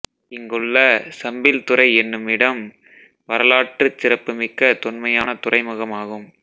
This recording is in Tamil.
இங்குள்ள சம்பில்துறை என்னும் இடம் வரலாற்றுச் சிறப்புமிக்க தொன்மையான துறைமுகமாகும்